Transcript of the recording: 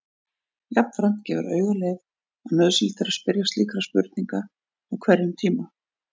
Jafnframt gefur auga leið að nauðsynlegt er að spyrja slíkra spurninga á hverjum tíma.